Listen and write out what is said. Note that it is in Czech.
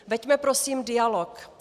Veďme prosím dialog.